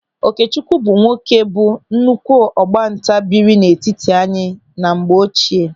Okechukwu bụ nwoke bụ nnukwu ọgbanta biri n'etiti anyị na mgbe ochie.